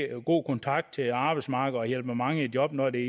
god kontakt til arbejdsmarkedet og hjælper mange i job når det er